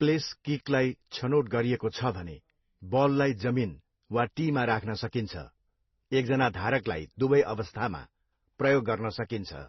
Place किकलाई छनोट गरिएको छ भने, बललाई जमिन वा टीमा राख्न सकिन्छ, एकजना धारकलाई दुवै अवस्थामा प्रयोग गर्न सकिन्छ।